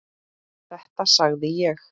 Þetta sagði ég.